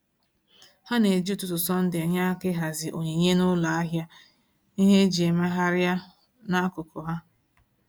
Ha na-eji ụtụtụ Sọnde enye aka ịhazi onyinye n’ụlọ ahịa ihe eji emegharịa n’akụkụ ha.